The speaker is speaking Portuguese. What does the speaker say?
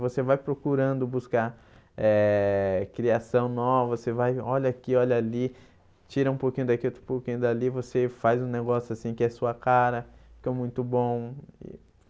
Você vai procurando buscar eh criação nova, você vai, olha aqui, olha ali, tira um pouquinho daqui, outro pouquinho dali, você faz um negócio assim, que é sua cara, que é muito bom.